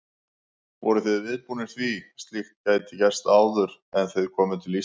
Voruð þið viðbúnir því að slíkt gæti gerst áður en þið komuð til Íslands?